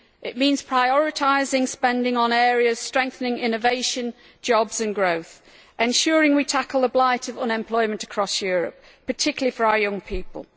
It means prioritising spending on areas strengthening innovation, jobs and growth, and ensuring we tackle the blight of unemployment across Europe, particularly for our young people.